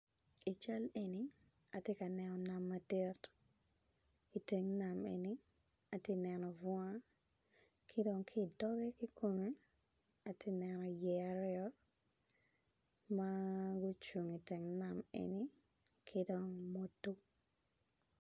I cal eni atye ka neno nam madit. Iteng nam eni atye ka neno yeya aryo ma gucung i tyeng nam eni